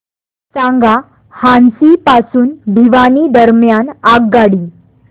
सांगा हान्सी पासून भिवानी दरम्यान आगगाडी